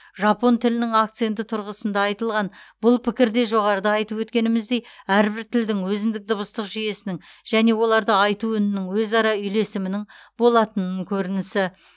жапон тілінің акценті тұрғысында айтылған бұл пікір де жоғарыда айтып өткеніміздей әрбір тілдің өзіндік дыбыстық жүйесінің және оларды айту үнінің өзара үйлесімінің болатынын көрінісі